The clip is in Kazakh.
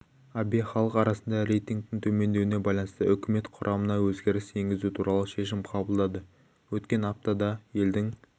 абэ халық арасында рейтингтің төмендеуіне байланысты үкімет құрамына өзгеріс енгізу туралы шешім қабылдады өткен аптада елдің